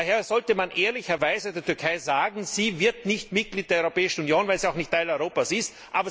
Daher sollte man ehrlicherweise der Türkei sagen, sie wird nicht Mitglied der Europäischen Union, weil sie auch nicht Teil Europas ist.